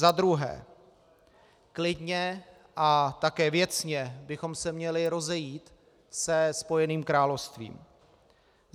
Za druhé, klidně a také věcně bychom se měli rozejít se Spojeným královstvím.